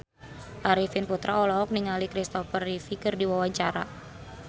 Arifin Putra olohok ningali Christopher Reeve keur diwawancara